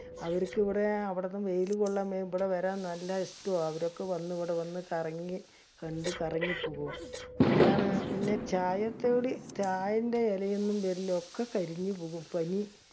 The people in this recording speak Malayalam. അവിരിക്ക് ഇബടെ അവിടുന്ന് വെയില് കൊല്ലാൻ ഇബടെ വരാൻ നല്ല ഇഷ്ടം ആണ്. അവരൊക്കെ വന്ന് ഇബടെ വന്ന് കറങ്ങി കണ്ട് കറങ്ങി പോകും. എന്താണ് പിന്നെ ചായ ചെയ്യെന്റെ എലെയൊന്നും വരില്ല. ഒക്കെ കരിഞ്ഞു പോകും പനി